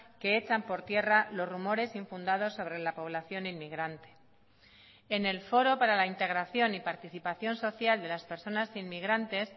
que echan por tierra los rumores infundados sobre la población inmigrante en el foro para la integración y participación social de las personas inmigrantes